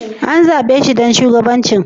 An zabe shi ɗan shugabancin?